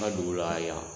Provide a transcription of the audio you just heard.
Ŋa dugu la yan